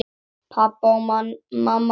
Pabbi og mamma bæði dáin.